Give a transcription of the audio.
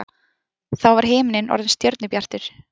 Þá var himinninn orðinn stjörnubjartur.